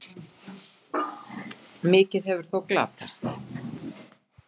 Mikið hefur þó glatast.